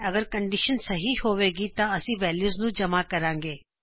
ਅਗਰ ਕੰਡੀਸ਼ਨ ਸਹੀ ਹੋਵੇਗੀ ਤਾ ਅਸੀ ਵੈਲਯੂਜ਼ ਨੂੰ ਜਮ੍ਹਾ ਕਰਾਗੇ